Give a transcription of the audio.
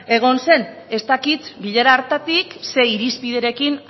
egon zen ez dakit bilera hartatik ze irizpiderekin